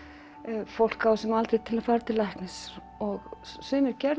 fólk á þessum aldri til að fara til læknis og sumir gerðu